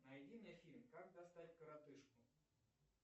найди мне фильм как достать коротышку